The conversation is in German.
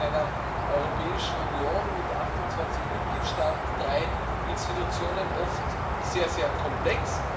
Das ist in einer Europäischen Union mit 28 Mitgliedstaaten und drei Institutionen oft sehr, sehr komplex.